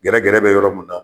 Gɛrɛ gɛrɛ bɛ yɔrɔ mun na.